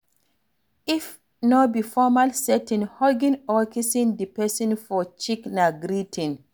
If no be formal setting, hugging or kissing di person for cheek na greeting